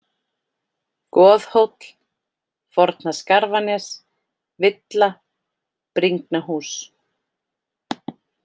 Goðhóll, Forna-Skarfanes, Villa, Bringnahús